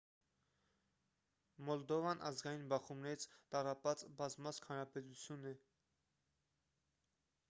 մոլդովան ազգային բախումներից տառապած բազմազգ հանրապետություն է